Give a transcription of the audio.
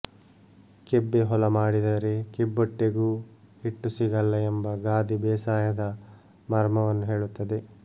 ಕೆಬ್ಬೆ ಹೊಲಮಾಡಿದರೆ ಕಿಬ್ಬೊಟ್ಟೆಗೂ ಹಿಟ್ಟು ಸಿಗಲ್ಲ ಎಂಬ ಗಾದೆ ಬೇಸಾಯದ ಮರ್ಮವನ್ನು ಹೇಳುತ್ತದೆ